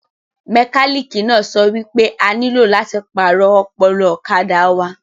Mẹkálíkì náà sọ wípé a nílò láti pàrọ̀ ọpọlọ ọ̀kadà wa